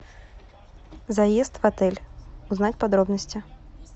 заезд в отель узнать подробности